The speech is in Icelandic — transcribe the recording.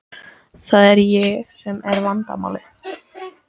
Það er ég sem er vandamálið.